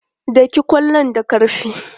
Daki ƙwallon da ƙarfi!